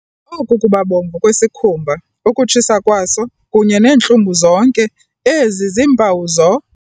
Oku kubabomvu kwesikhumba, ukutshisa kwaso, kunye neentlungu, zonke ezi ziimpawu zo.